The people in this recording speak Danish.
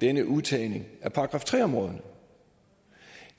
denne udtagning af § tre områderne